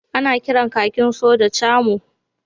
Ana kiran kakin sojan Camo